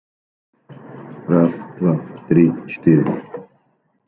раз два три четыре